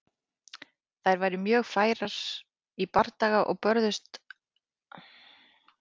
Þær voru mjög færar í bardaga og börðust aðallega með sverðum, bogum og spjótum.